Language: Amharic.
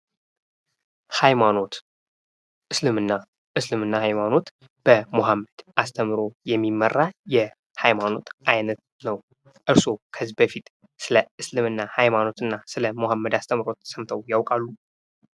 ሀይማኖት እስልምና ሀይማኖት በሙሀመድ አስተምሮ የሚመራ የሀይማኖት አይነት ነው። እርስዎ ከዚህ በፊት ስለ እስልምና ሀይማኖትና ስለሙሀመድ አስተምሮ ሰምተው ያውቃሉ?